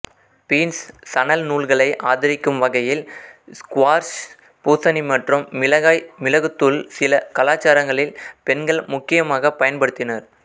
beans சணல்நூல்களை ஆதரிக்கும் வகையில் ஸ்குவாஷ் பூசணி மற்றும் மிளகாய் மிளகுத்தூள் சில கலாச்சாரங்களில் பெண்கள் முக்கியமாக பயன்படுத்தினர்